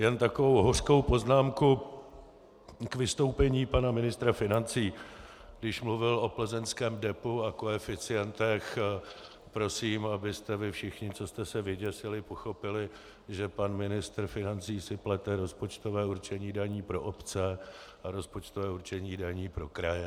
Jenom takovou hořkou poznámku k vystoupení pana ministra financí, když mluvil o plzeňském depu a koeficientech, prosím, abyste vy všichni, co jste se vyděsili, pochopili, že pan ministr financí si plete rozpočtové určení daní pro obce a rozpočtové určení daní pro kraje.